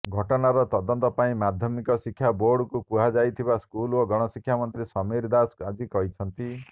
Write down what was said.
ଘଟଣାର ତଦନ୍ତ ପାଇଁ ମାଧ୍ୟମିକ ଶିକ୍ଷା ବୋର୍ଡକୁ କୁହାଯାଇଥିବା ସ୍କୁଲ ଓ ଗଣଶିକ୍ଷାମନ୍ତ୍ରୀ ସମୀର ଦାଶ ଆଜି କହିଛନ୍ତି